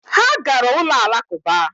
Ha gara ụlọ Alakụba